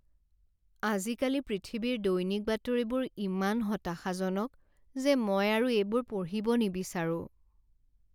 আজিকালি পৃথিৱীৰ দৈনিক বাতৰিবোৰ ইমান হতাশাজনক যে মই আৰু এইবোৰ পঢ়িব নিবিচাৰোঁ।